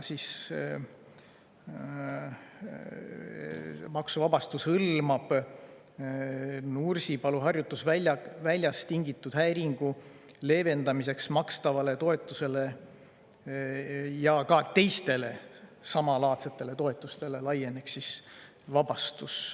Maksuvabastus hõlmab Nursipalu harjutusväljast tingitud häiringu leevendamiseks makstavaid toetusi ja see vabastus laieneks ka teistele samalaadsetele toetustele.